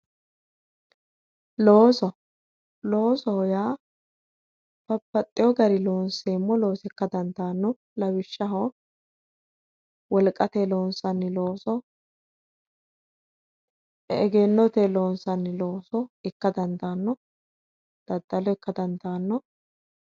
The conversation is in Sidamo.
Looso, loosoho yaa babbaxino garinni loonseemmo looso ikka dandaano lawishshaho wolqatenni loonsanni looso egennotenni loonsanni looso ikka dandaano ,daddalo ikka dandaano.